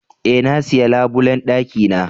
E,na siya labulen dakina.